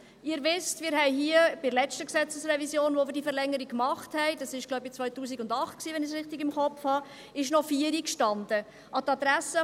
Sie wissen, als wir hier bei der letzten Gesetzesrevision eine Verlängerung machten – wenn ich es richtig im Kopf habe, war dies, so glaube ich, 2008 –, stand noch 16 Uhr drin.